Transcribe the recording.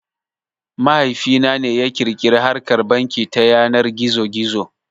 Mahaifi na ne ya ƙirƙiri harkar banki ta yanar gizo gizo